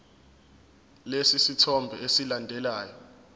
lesi sithombe esilandelayo